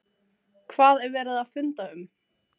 Hvað var verið að funda um?